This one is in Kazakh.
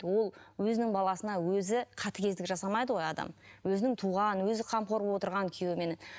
ол өзінің баласына өзі қатігездік жасамайды ғой адам өзінің туған өзі қамқор болып отырған күйеуімен